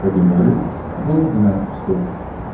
как я говорил до двенадцати часов